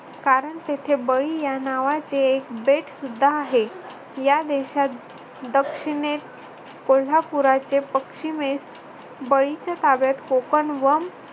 कारण तेथे बळी या नावाचे एक बेट सुद्धा आहे. या देशात दक्षिणेस कोल्हापूरचे पश्चिमेस बळीच्या ताब्यात कोकण व